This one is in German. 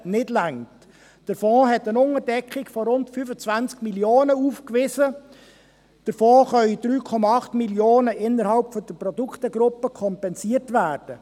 Der Fond wies eine Unterdeckung von rund 25 Mio. Franken aus, davon können 3,8 Mio. Franken innerhalb der Produktegruppe kompensiert werden.